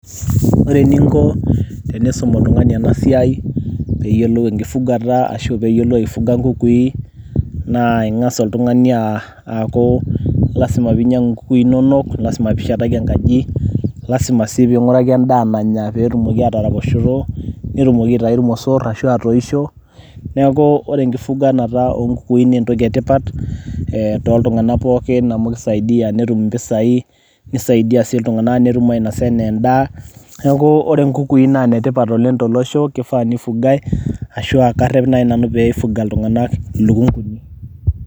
ore eninko tenisum oltungani ena siai, pee eyiolou enkifugata ashu pee eyiolou aifuga nkukui, naa kengas oltungani aaku, lasima pee inyiangu inkuki inonok, lasima pee ishetaki enkaji. lasima sii pee inguraki edaa nanya pee etumoki aataraposhoto. netumoki aitayu irmosor ashu atoisho. neeku ore enkifyganata oo nkukui naa entoki etipat too ltunganak pooki amu kisaidi netum impisai, netum ainosa anaa edaa. neeku ore nkukui naa ine tipat oleng tolosho. neeku karep naji nanu pee ifugae ilukunkuni.